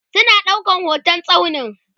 suna ɗaukan hotan tsaunin